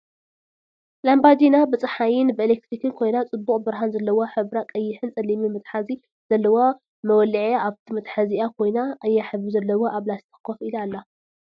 ላምባዲና ብፀሓይን ብኢለክትሪክን ኮይና ፅቡቅ ብርሃን ዘለዋ ሕብራ ቀይሕን ፀሊምን መትሓዚ ዘለዋ መወልዒኣ ኣብቲ መትሓዚኣ ኮይና ቀያሕ ሕብሪ ዘለዋ ኣብ ላስቲክ ኮፍ ኢላ ኣላ።